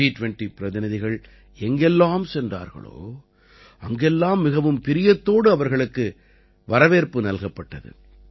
ஜி20 பிரதிநிதிகள் எங்கெல்லாம் சென்றார்களோ அங்கெல்லாம் மிகவும் பிரியத்தோடு அவர்களுக்கு வரவேற்பு நல்கப்பட்டது